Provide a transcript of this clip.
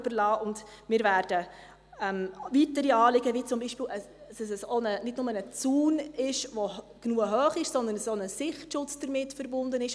Wir werden weiteren Anliegen nachkommen, wie zum Beispiel, dass es nicht bloss ein genug hoher Zaun sei, sondern dass auch ein Sichtschutz damit verbunden sei.